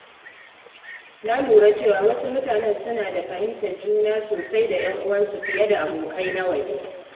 Na lura cewa wasu mutane suna da fahimtar juna sosai da ‘yan uwansu fiye da abokai na waje.